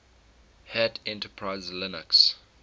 hat enterprise linux